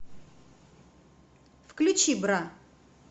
включи бра